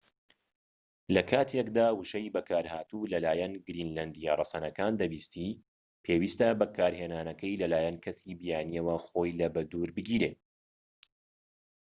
لە کاتێکدا وشەی بەکارهاتوو لە لایەن گرینلەندیە ڕەسەنەکان دەبیستیت پێویستە بەکارهێنانەکەی لە لایەن کەسانی بیانیەوە خۆی لە بە دوور بگیرێت